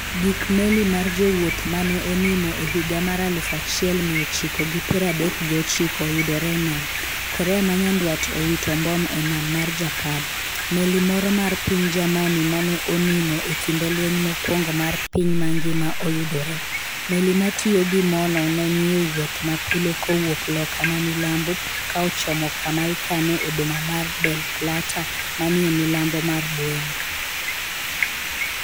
Gik meli mar jawuoth mane onimo e higa mar aluf achiel miya ochiko gi piero adek gi ochiko oyudore e nam. Korea ma nyandwat owito mbom e nam mar Japan. Meli moro mar piny Germany mane onimo e kinde lweny mokuongo mar piny mangima oyudore. meli ma tiyo gi mo no ne nie wuoth mapile kowuok loka mamilambo ka ochomo kama ikane e boma mar Mar Del Plata ma ni milambo mar Buenos